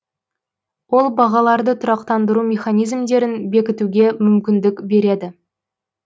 ол бағаларды тұрақтандыру механизмдерін бекітуге мүмкіндік береді